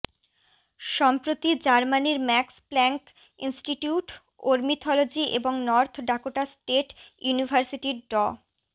সম্প্রতি জার্মানির Max Planck Institute ornithology এবং নর্থ ডাকোটা স্টেট ইউনিভার্সিটির ড